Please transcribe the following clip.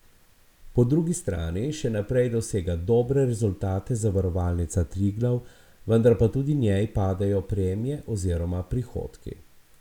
Po drugi strani še naprej dosega dobre rezultate Zavarovalnica Triglav, vendar pa tudi njej padajo premije oziroma prihodki.